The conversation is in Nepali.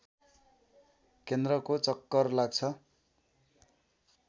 केन्द्रको चक्कर लाग्छ